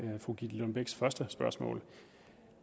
fru gitte lillelund bechs første spørgsmål